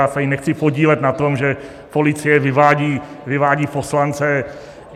Já se tady nechci podílet na tom, že policie vyvádí poslance.